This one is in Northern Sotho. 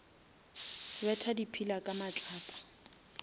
betha di pillar ka matlapa